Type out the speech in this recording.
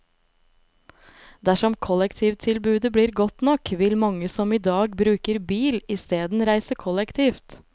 Dersom kollektivtilbudet blir godt nok, vil mange som i dag bruker bil isteden reise kollektivt.